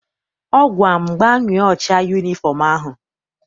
Ọ gwara m, gbanwee ụcha yunifọm ahụ!